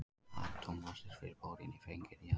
Atómmassi fyrir bórín er fenginn héðan.